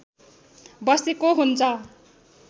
बसेको हुन्छ